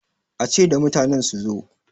a ce da mutanen su zo!